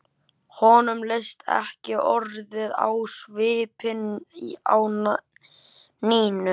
Honum leist ekki orðið á svipinn á Nínu.